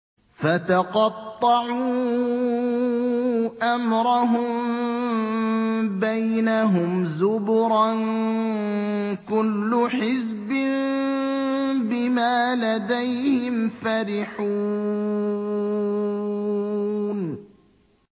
فَتَقَطَّعُوا أَمْرَهُم بَيْنَهُمْ زُبُرًا ۖ كُلُّ حِزْبٍ بِمَا لَدَيْهِمْ فَرِحُونَ